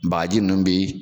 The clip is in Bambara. Bagaji ninnu bɛ